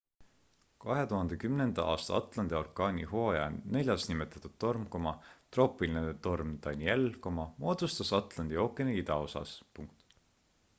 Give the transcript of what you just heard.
2010 aasta atlanti orkaanihooaja neljas nimetatud torm troopiline torm danielle moodustus atlandi ookeani idaosas